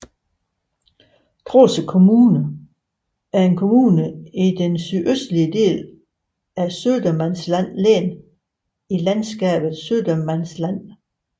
Trosa kommun er en kommune i den sydøstlige del af Södermanlands län i landskabet Södermanland